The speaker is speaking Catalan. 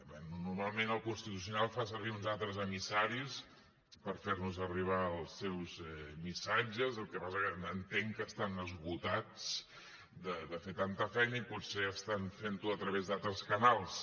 bé normalment el constitucional fa servir uns altres emissaris per fer nos arribar els seus missatges el que passa que entenc que estan esgotats de fer tanta feina i potser estan fent ho a través d’altres canals